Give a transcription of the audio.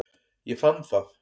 Ég fann það.